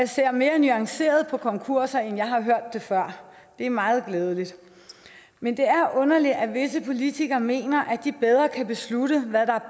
ser mere nuanceret på konkurser end jeg har hørt før og det er meget glædeligt men det er underligt at visse politikere mener at de bedre kan beslutte hvad der